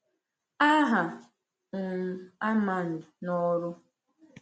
Aha um Armand n’ọrụ.